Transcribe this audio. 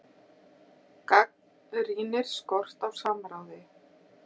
Gagnrýnir skort á samráði